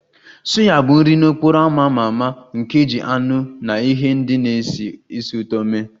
Suya bụ nri n'okporo ámá a ma ama nke e ji anụ na ihe ndị na-esi ísì ụtọ mee